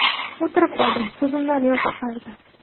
O‘tirib qoldim, ko‘zimdan yosh oqardi.